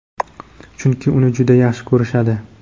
chunki uni juda yaxshi ko‘rishadi.